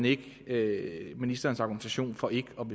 ikke ministerens argumentation for ikke